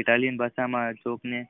Italy ની ભાષા માં અશોક ની